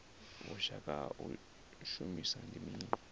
vhushaka ha u shumisana ndi mini